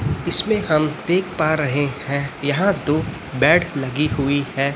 इसमें हम देख पा रहे हैं यहां दो बेड लगी हुई है।